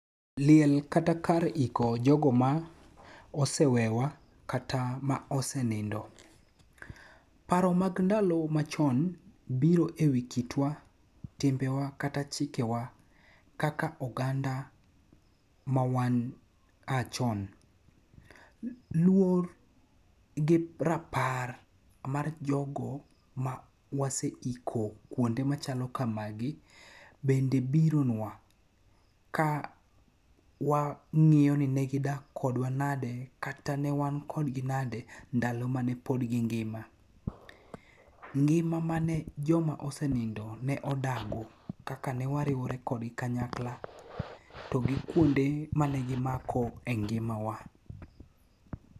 Liel kata kar iko jogo ma ose wewa kata ma ose nindo. Paro mag ndalo machon biro e wi kitwa, timbewa kata chike wa kaka oganda mawan a chon. Luor gi rapar mar jogo ma wase iko kuonde manyalo kamagi bende bironwa ka wa ng'iyo ni negidak kodwa nade kata ne wan kodgi nade ndalo mane pod gi ngima. Ngima mane joma osenindo ne odago kaka ne wariwore kodgi kanyakla to gi kuonde mane gimako e ngima wa.